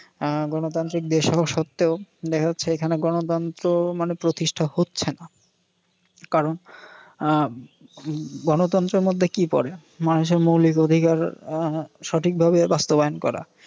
আহ গণতান্ত্রিক দেশ হওয়া সত্ত্বেও দেখা যাচ্ছে এখানে গনতন্ত্র মানে প্রতিষ্ঠা হচ্ছে না। কারণ আহ গনতন্ত্রের মধ্যে কি পরে, মানুষের মৌলিক অধিকার আহ সঠিক ভাবে বাস্তবায়ন করা।